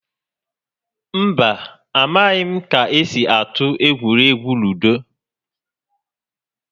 Mba, a maghị m ka-esi atụ egwuregwu ludo